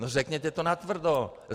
No, řekněte to natvrdo.